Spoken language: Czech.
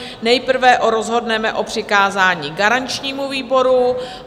Nejprve rozhodneme o přikázání garančnímu výboru.